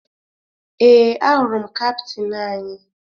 Ee, ahụrụ m kaptịn anyị